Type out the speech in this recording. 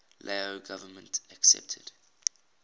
lao government accepted